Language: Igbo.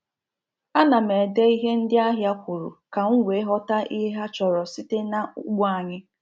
A na m ede ihe ndị ahịa kwuru ka m wee ghọta ihe ha chọrọ site na ugbo anyị